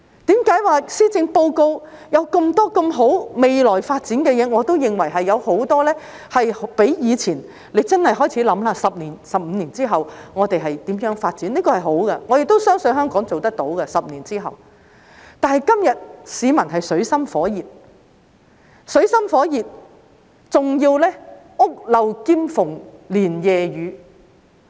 為何說施政報告有那麼多美好的、未來發展的事情，我都認為較以前......大家真的要開始思考 ，10 年、15年之後，我們會如何發展，這是好的，我也相信香港10年之後做得到，但是，今天市民水深火熱，還要屋漏兼逢連夜雨。